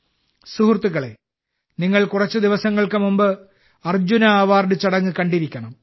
സുഹൃത്തുക്കളേ നിങ്ങൾ കുറച്ച് ദിവസങ്ങൾക്ക് മുമ്പ് അർജുന അവാർഡ് ചടങ്ങ് കണ്ടിരിക്കണം